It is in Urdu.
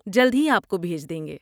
جلد ہی آپ کو بھیج دیں گے!